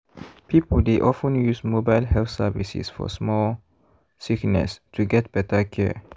people dey of ten use mobile health services for small sickness to get better care.